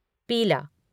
पीला